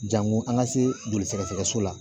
Jango an ka se joli sɛgɛsɛgɛ so la